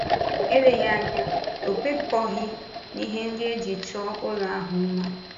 Eleghị anya ọ̀ kwekọghị n’ihe ndị e ji chọọ ụlọ ahụ mma.